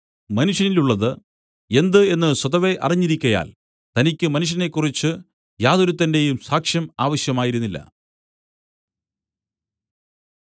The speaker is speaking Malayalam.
മനുഷ്യനിലുള്ളത് എന്ത് എന്നു സ്വതവേ അറിഞ്ഞിരിക്കയാൽ തനിക്കു മനുഷ്യനെക്കുറിച്ച് യാതൊരുത്തന്റെയും സാക്ഷ്യം ആവശ്യമായിരുന്നില്ല